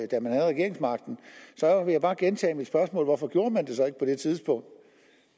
da man havde regeringsmagten så vil jeg bare gentage mit spørgsmål hvorfor gjorde man det så ikke på det tidspunkt